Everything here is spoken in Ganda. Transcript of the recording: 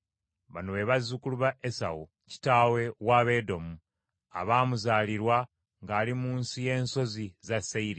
Bino bye bifa ku b’olulyo lwa Esawu, kitaawe w’Abaedomu abaamuzaalirwa ng’ali mu nsi y’ensozi za Seyiri.